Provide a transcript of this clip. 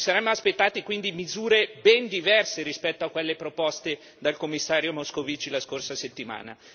Ci saremmo aspettati quindi misure ben diverse rispetto a quelle proposte dal Commissario Moscovici la scorsa settimana.